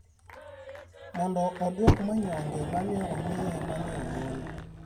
mondo odwok manyonge ma ne omiye ma ne ogol